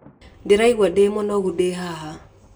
Ndĩraigua mũnungo ndĩ haha.